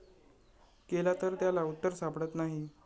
केला तर त्याला उत्तर सापडत नाही.